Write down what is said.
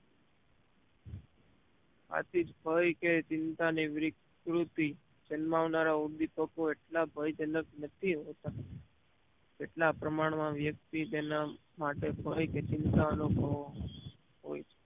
આથી ભય કે ચિંતા ની વિકૃતિ જન્માવનારા ઉદીપકો એટલા ભય જનક નથી હોતા તેટલા પ્રમાણ માં વ્યક્તિ તેના માટે ભય ચિંતાના અનુભવો હોય છે